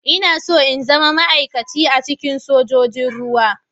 Ina so in zama ma'aikaci a cikin sojojin ruwa.